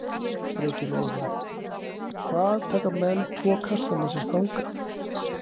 Breki Logason: Hvað taka menn tvo kassa með sér þangað?